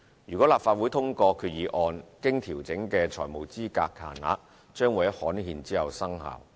如立法會通過決議案，經調整的財務資格限額將於刊憲後生效。